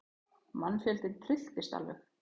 Mannfjöldinn trylltist alveg.